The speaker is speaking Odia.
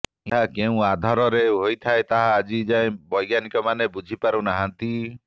ଏହା କେଉଁ ଆଧାର ରେ ହେଇଥାଏ ତାହା ଆଜି ଯାଏ ବୈଜ୍ଞାନିକ ମାନେ ବୁଝି ପାରୁ ନାହାନ୍ତି